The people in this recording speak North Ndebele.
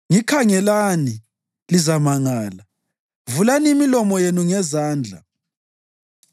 Ngikhangelani, lizamangala; vulani imilomo yenu ngezandla.